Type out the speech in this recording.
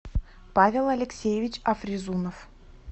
павел алексеевич афризунов